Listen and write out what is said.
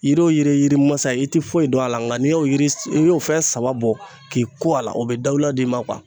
Yiriw yirimasa i ti foyi don a la nka n'i y'o yir i y'o fɛn saba bɔ k'i ko a la o bɛ dawula d'i ma